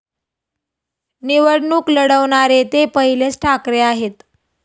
निवडणूक लढवणारे ते पहिलेच ठाकरे आहेत.